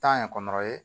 Taa ɲɛ kɔnɔrɔ ye